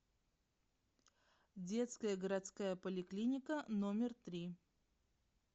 детская городская поликлиника номер три